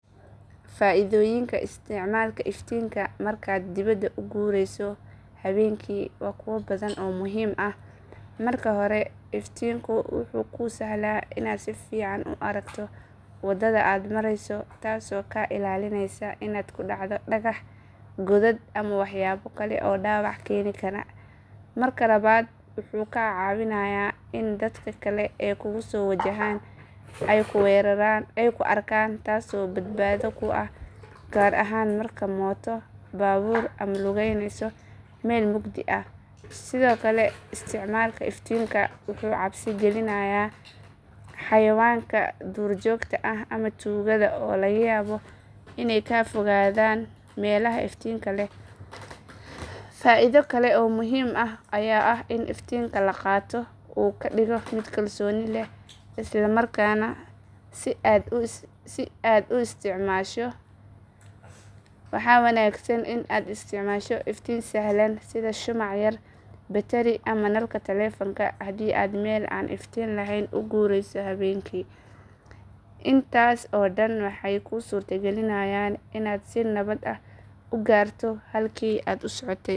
Faaidooyinka isticmaalka iftiinka markaad dibadda u guureyso habeenkii waa kuwo badan oo muhiim ah. Marka hore iftiinku wuxuu kuu sahlaa inaad si fiican u aragto waddada aad marayso taasoo kaa ilaalinaysa inaad ku dhacdo dhagax, godad ama waxyaabo kale oo dhaawac keeni kara. Marka labaad wuxuu kaa caawinayaa in dadka kale ee kugu soo wajahan ay kuu arkaan taasoo badbaado kuu ah gaar ahaan markaad mooto, baabuur ama lugeynayso meel mugdi ah. Sidoo kale isticmaalka iftiinka wuxuu cabsi gelinayaa xayawaanka duurjoogta ah ama tuugada oo laga yaabo inay ka fogaadaan meelaha iftiinka leh. Faaido kale oo muhiim ah ayaa ah in iftiinka la qaato uu kaa dhigo mid kalsooni leh isla markaana si dagan u socda. Waxaa wanaagsan in aad isticmaasho iftiin sahlan sida shumac yar, batari ama nalka taleefanka haddii aad meel aan iftiin lahayn u guureyso habeenkii. Intaas oo dhami waxay kuu suurtagelinayaan inaad si nabad ah u gaarto halkii aad u socotay.